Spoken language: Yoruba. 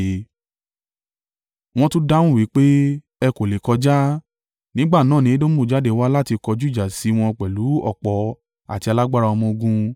Wọ́n tún dáhùn wí pé, “Ẹ kò lè kọjá.” Nígbà náà ni Edomu jáde wá láti kọjú ìjà sí wọn pẹ̀lú ọ̀pọ̀ àti alágbára ọmọ-ogun.